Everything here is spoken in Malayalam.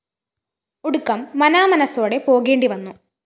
ഒടുക്കം മനാമനസോടെ പോകേണ്ടി വന്നു